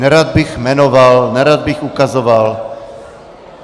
Nerad bych jmenoval, nerad bych ukazoval.